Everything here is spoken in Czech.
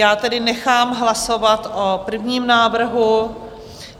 Já tedy nechám hlasovat o prvním návrhu.